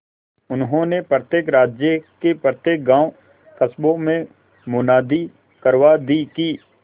उन्होंने प्रत्येक राज्य के प्रत्येक गांवकस्बों में मुनादी करवा दी कि